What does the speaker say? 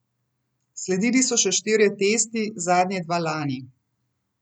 Sledili so še štirje testi, zadnje dva lani.